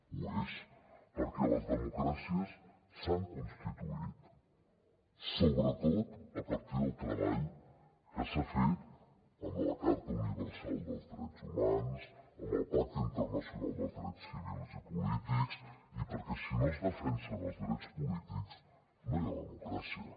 ho és perquè les democràcies s’han constituït sobretot a partir del treball que s’ha fet amb la carta universal dels drets humans amb el pacte internacional dels drets civils i polítics i perquè si no es defensen els drets polítics no hi ha democràcia